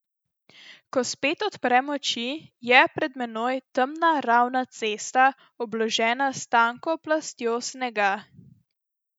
Ko spet odprem oči, je pred menoj temna ravna cesta, obložena s tanko plastjo snega.